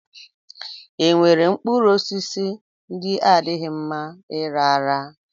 E nwere mkpụrụosisi ndị adịghị mma ịra ara?